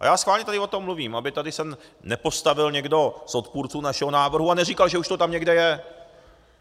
A já schválně tady o tom mluvím, aby se tady nepostavil někdo z odpůrců našeho návrhu a neříkal, že už to tam někde je.